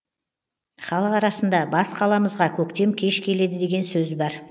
халық арасында бас қаламызға көктем кеш келеді деген сөз бар